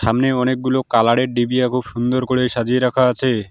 সামনে অনেকগুলো কালার -এর ডিবিয়া খুব সুন্দর করে সাজিয়ে রাখা আছে।